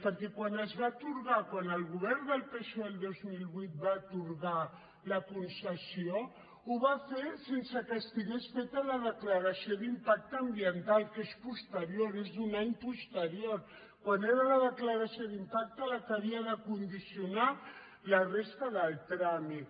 perquè quan el govern del psoe el dos mil vuit va atorgar la concessió ho va fer sense que estigués feta la declaració d’impacte ambiental que és posterior és un any posterior quan era la declaració d’impacte la que havia de condicionar la resta del tràmit